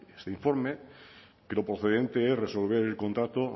este informe que lo procedente es resolver el contrato